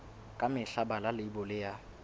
ka mehla bala leibole ya